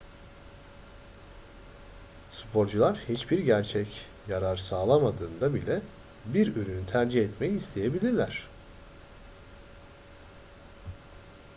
sporcular hiçbir gerçek yarar sağlamadığında bile bir ürünü tercih etmeyi isteyebilirler